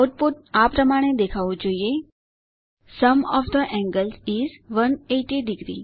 output આ પ્રમાણે દેખાવું જોઈએ sum of the angles is 1800